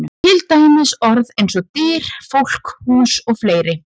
Til dæmis orð eins og: Dyr, fólk, hús og fleiri?